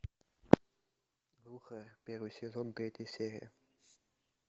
первый сезон третья серия